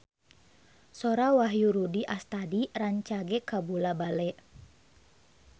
Sora Wahyu Rudi Astadi rancage kabula-bale